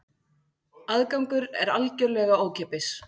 Aðgangur er algjörlega ókeypis